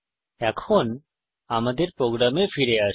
এখন আমাদের প্রোগ্রামে ফিরে আসি